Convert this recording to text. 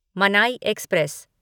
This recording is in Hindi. मनाई एक्सप्रेस